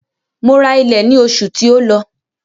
Mo ra ilẹ̀ ní oṣù tí ó lọ.